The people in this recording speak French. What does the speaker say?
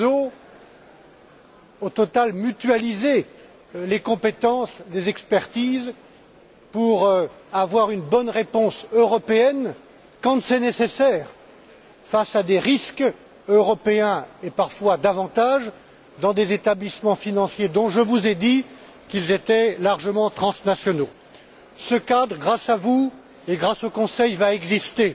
en réseau, au total mutualiser les compétences des expertises pour avoir une bonne réponse européenne, quand c'est nécessaire, face à des risques européens et parfois davantage, dans des établissements financiers dont je vous ai dit qu'ils étaient largement transnationaux. Grâce à vous et grâce au Conseil, ce cadre va exister.